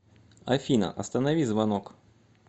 афина останови звонок